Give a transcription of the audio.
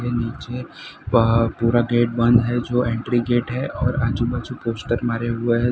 नीचे पा पूरा गेट बंद है जो एंट्री गेट है और आजू बाजू पोस्टर मारे हुए हैं।